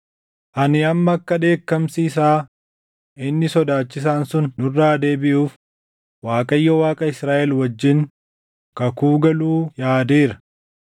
Ani amma akka dheekkamsi isaa inni sodaachisaan sun nurraa deebiʼuuf Waaqayyo Waaqa Israaʼel wajjin kakuu galuu yaadeera.